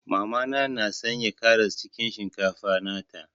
Mama na na Sanya karas cikin shinkafa nata.